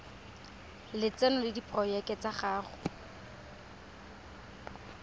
lotseno le diporojeke tsa go